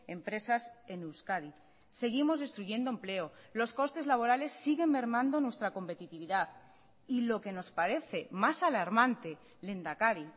empresas en euskadi seguimos destruyendo empleo los costes laborales siguen mermando nuestra competitividad y lo que nos parece más alarmante lehendakari